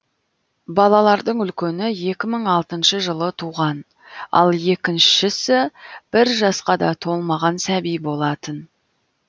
балалардың үлкені екі мың алтыншы жылы туған ал екіншісі бір жасқа да толмаған сәби болатын